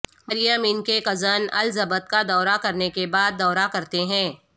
مریم ان کے cousin Elizabeth کا دورہ کرنے کے بعد دورہ کرتے ہیں